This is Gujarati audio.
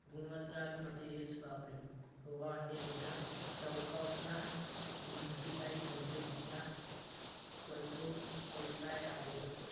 ગુણવતલાલ material વાપર્યું હોવાને તેના ટહુકા ઉપના મજબૂતાઈ ગંભીર થતા કરતો બરી પાઈ આવ્યો હતો